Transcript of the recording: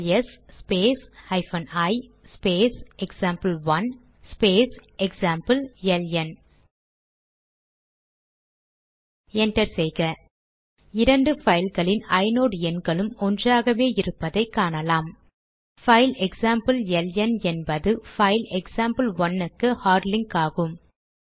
LS space hyphen I space example one space example LN enter செய்க இரண்டு பைல்களின் inode எண்களும் ஒன்றாகவே இருப்பதை காணலாம் பைல் எக்சாம்பிள் எல்என் என்பது பைல் எக்சாம்பிள்1 க்கு ஹார்ட் லிங்க் ஆகும்